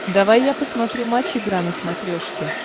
давай я посмотрю матч игра на смотрешке